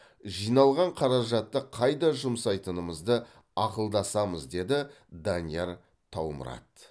жиналған қаражатты қайда жұмсайтынымызды ақылдасамыз деді данияр таумұрат